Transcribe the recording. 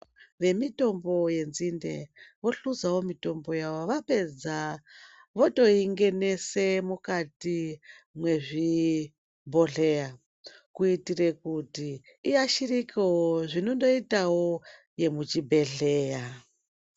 Vemitombo yenzinde vohluzawo mitombo yavo vapedza votoingenese mukati mwezvibhodhleya kuitire kuti iashirikewo zvinondoitawo yemuchibhedhleya.